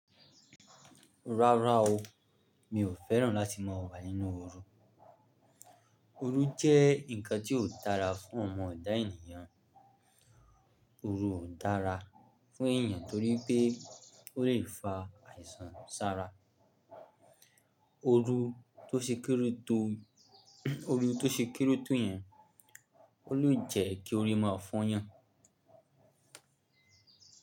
Rárá o, mi ò fẹ́ràn láti máa wà nínú oru. Oru jẹ́ ǹkan tí ò dára fún ọmọ ẹ̀dá ènìyàn. Oru ò dára fún ènìyàn torí pé ó lè fa àìsàn sára. Oru tó ṣe kere tó yẹn, ó lè jẹ́ kí orí máa fọ́yàn.